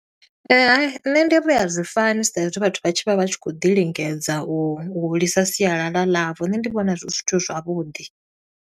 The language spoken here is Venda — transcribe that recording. Hai, nṋe ndi ri a zwi fani, sa i zwi vhathu vha tshi vha vha tshi khou ḓi lingedza, u hulisa sialala ḽavho. Nṋe ndi vhona zwi zwithu zwavhuḓi.